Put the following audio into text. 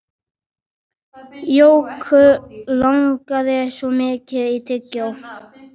Jóku langaði svo mikið í tyggjó.